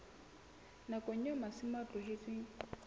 nakong eo masimo a tlohetsweng